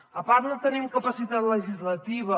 a part no tenim capacitat legislativa